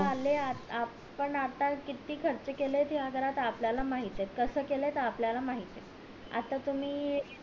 आता आले आपण आता किती खर्च केले या घरात ते आपल्या ला माहित ये कस केलं ते आपल्या ला माहित ये आता तुम्ही